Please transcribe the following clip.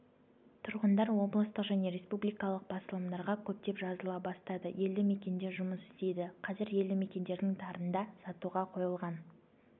тұрғындар облыстық және республикалық басылымдарға көптеп жазыла бастады елді-мекенде жұмыс істейді қазір елді-мекендердің тарында сатуға қойылған